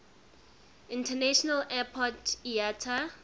international airport iata